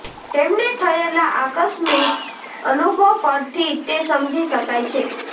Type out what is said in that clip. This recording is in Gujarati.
તેમને થયેલા આકસ્મિક અનુભવ પરથી તે સમજી શકાય છે